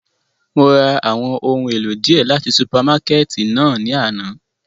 Mo ra awọn ohun elo diẹ lati supamakẹti náa ni ana.